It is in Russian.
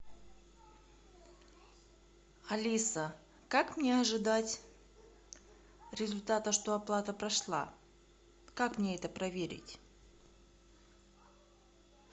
алиса как мне ожидать результата что оплата прошла как мне это проверить